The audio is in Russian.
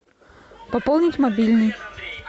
пополнить мобильный